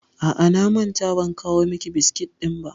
A'a, na manta ban kawo miki biskit ɗin ba.